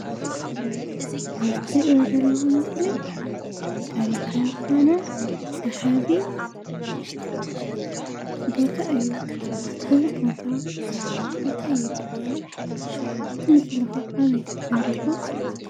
እዚ እትሪእዎ ዘለኩም ምስሊ ታሪካዊ ዝኮነ እስካዕ ሕዚ ቦታ እዩ እዚ ቦታ እንታይ ይበሃል? እቲ ምስሊ ከ ኣበይ ተሰሪሑ?